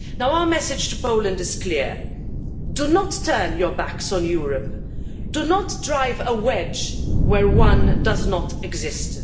Our message to Poland is clear do not turn your backs on Europe, do not drive a wedge where one does not exist.